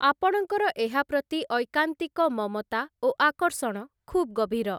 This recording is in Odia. ଆପଣଙ୍କର ଏହା ପ୍ରତି ଐକାନ୍ତିକ ମମତା ଓ ଆକର୍ଷଣ ଖୁବ୍ ଗଭୀର ।